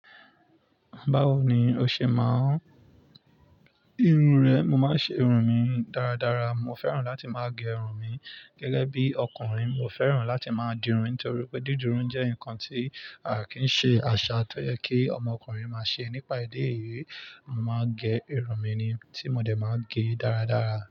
Báwo ni o ṣe máa ń gé irun rẹ? Mo máa ń ṣe irun mi dáradára. Mo fẹ́ràn láti máa gẹ irun mi gẹ́gẹ́ bí ọkùnrin. Mo fẹ́ràn láti máa di irun torí pé dídún jẹ́ nǹkan tí a kì í ṣe àṣà tó yẹ kí ọmọkùnrin máa ṣe nípa idi eyi. Mo máa ń gẹ irun mi ni tí mo dẹ̀ máa gẹ dáradára.